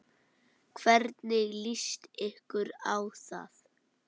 Hvernig líst ykkur á það?